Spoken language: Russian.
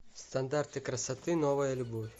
стандарты красоты новая любовь